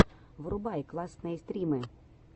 врубай классные стримы